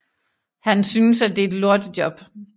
Han synes at det er et lortejob